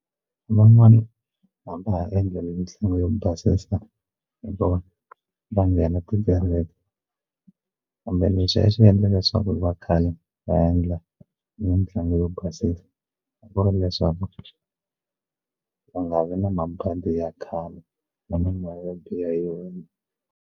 Van'wani hambi a ha endla mitlangu yo basisa hi vona va nghena tikereke kumbe lexi a xi endlaka leswaku va khale va endla mitlangu yo basisa ku va leswaku va nga vi na mabandi ya khale na mimoya yo biha .